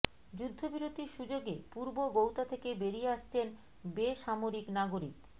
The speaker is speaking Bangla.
যুদ্ধবিরতির সুযোগে পূর্ব গৌতা থেকে বেরিয়ে আসছেন বেসামরিক নাগরিক